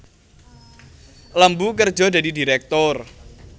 Lembu kerja dadi direktur